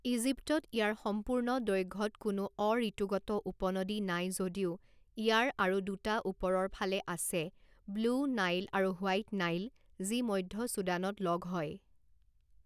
ইজিপ্তত ইয়াৰ সম্পূৰ্ণ দৈৰ্ঘ্যত কোনো অ-ঋতুগত উপনদী নাই যদিও ইয়াৰ আৰু দুটা ওপৰৰ ফালে আছে ব্লু নাইল আৰু হোৱাইট নাইল যি মধ্য চুদানত লগ হয়।